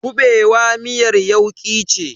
kuɓewa miyar yauki ce.